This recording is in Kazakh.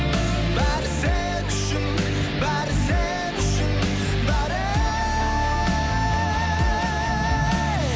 бәрі сен үшін бәрі сен үшін бәрі ей